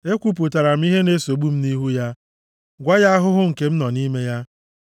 Ekwupụtara m ihe na-esogbu m nʼihu ya, gwakwa ya ahụhụ nke m nọ nʼime ya.